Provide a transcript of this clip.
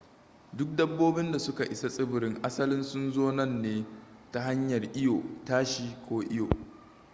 duk dabbobin da suka isa tsibirin asalin sun zo nan ne ta hanyar iyo tashi ko iyo